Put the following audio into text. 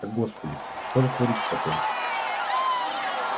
господи что же творится такое